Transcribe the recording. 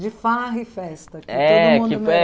De farra e festa